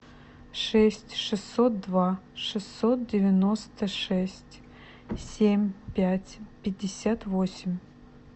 шесть шестьсот два шестьсот девяносто шесть семь пять пятьдесят восемь